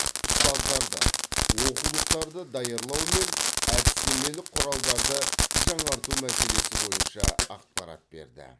ұстаздарды оқулықтарды даярлау мен әдістемелік құралдарды жаңарту мәселесі бойынша ақпарат берді